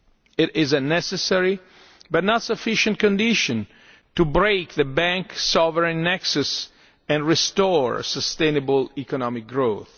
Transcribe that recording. Union. It is a necessary, but not sufficient, condition to break the bank sovereign nexus and restore sustainable economic